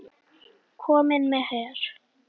Kominn með her!